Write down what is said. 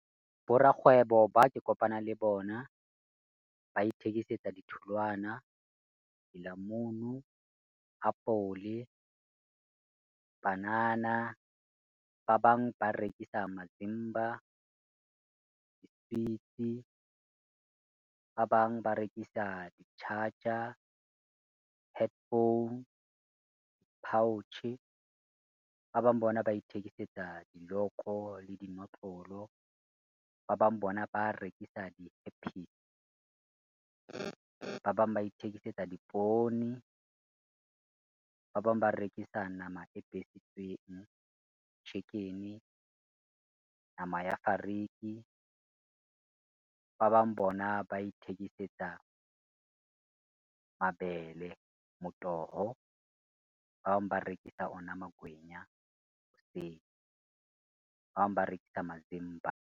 Borakgwebo ba ke kopana le bona, ba ithekisetsa ditholwana, dilamunu, apole, banana. Ba bang ba rekisa mazimba, diswitsi, ba bang ba rekisa di-charger, headphone, pouch-e. Ba bang bona ba ithekisetsa diloko le dinotlolo. Ba bang bona ba rekisa , ba bang ba ithekisetsa dipoone, ba bang ba rekisa nama e besitsweng chicken-e, nama ya fariki. Ba bang bona ba ithekisetsa mabele motoho, ba bang ba rekisa ona magwenya hoseng, ba bang ba rekisa mazimba.